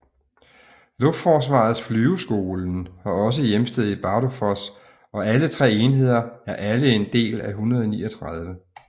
Luftforsvarets flyveskolen har også hjemsted i Bardufoss og alle 3 enheder er alle en del af 139